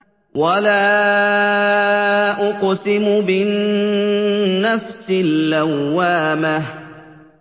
وَلَا أُقْسِمُ بِالنَّفْسِ اللَّوَّامَةِ